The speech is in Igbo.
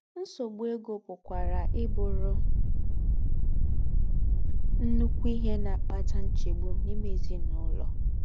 Ńsọ̀gbu égó pùkwarà íbùrù ńnụ́kù íhe ná-àkpátà ńchègbù n’ímè èzín’úlọ̀.